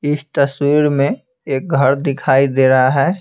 इस तस्वीर में एक घर दिखाई दे रहा है।